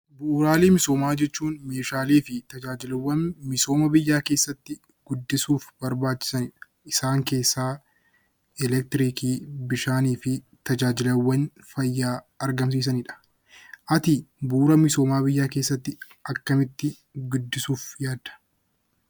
Bu'uraalee misoomaa jechuun meeshaalee fi tajaajilawwan misooma biyyaa keessatti guddisuuf barbaachisani dha. Isaan keessaa Elektiriikii, Bishaanii fi tajaajilawwan fayyaa argamsiisani dha. Ati bu'uura misoomaa biyyaa keessatti akkamitti guddisuuf yaadda?